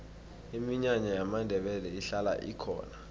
iminyanya yamandebele ihlala ikhona